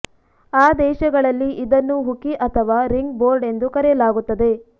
ಆ ದೇಶಗಳಲ್ಲಿ ಇದನ್ನು ಹುಕಿ ಅಥವಾ ರಿಂಗ್ ಬೋರ್ಡ್ ಎಂದು ಕರೆಯಲಾಗುತ್ತದೆ